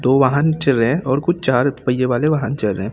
दो वाहन चल रहे हैं और कुछ चार पहिए वाले वाहन चल रहे हैं।